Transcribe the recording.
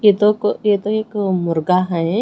ये तो क ये तो एक मुर्गा हैं।